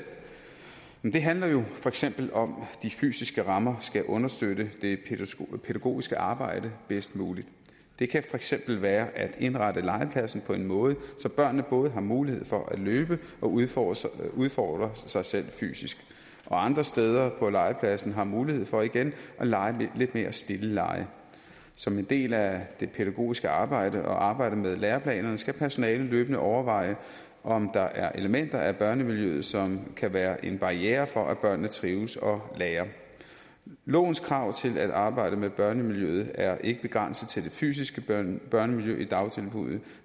det handler jo for eksempel om at de fysiske rammer skal understøtte det pædagogiske arbejde bedst muligt det kan for eksempel være at indrette legepladsen på en måde så børnene både har mulighed for at løbe og udfordre sig udfordre sig selv fysisk og andre steder på legepladsen har mulighed for at lege lidt mere stille lege som en del af det pædagogiske arbejde og arbejdet med læreplanerne skal personalet løbende overveje om der er elementer af børnemiljøet som kan være en barriere for at børnene trives og lærer lovens krav til at arbejde med børnemiljøet er ikke begrænset til det fysiske børnemiljø i dagtilbuddene